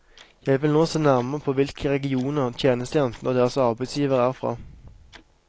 Jeg vil nå se nærmere på hvilke regioner tjenestejentene og deres arbeidsgivere er fra.